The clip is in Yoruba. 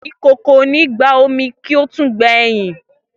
Ikoko o ni gba omi, ki o tun gbe eyin.